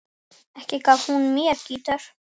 Ekki gaf hún mér gítar.